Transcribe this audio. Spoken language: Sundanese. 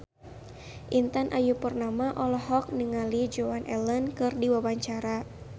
Intan Ayu Purnama olohok ningali Joan Allen keur diwawancara